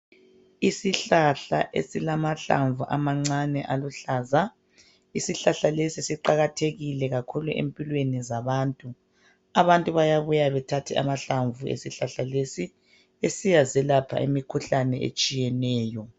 Isihlahla esilamahlamvu amancane aluhlaza. Isihlahla lesi siqakathekile kakhulu empilweni zabantu. Abantu bayabuya bethathe amahlamvu esihlahla lesi, besiyazelapha imikhuhlane etshiyeneyo.